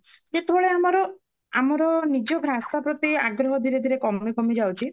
ଯେତେବେଳେ ଆମର ଆମାର ନିଜର ଆମ ନିଜ ଭାଷା ପ୍ରତି ଆଗ୍ରହ ଧୀରେ ଧୀରେ କମି କମି ଯାଉଛି